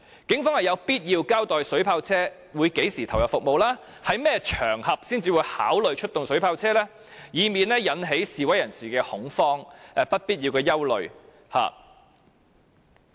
警方是有必要交代水炮車於何時投入服務，以及在甚麼場合才會考慮出動水炮車，以免引起示威人士的恐慌及不必要的憂慮。